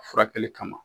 A furakɛli kama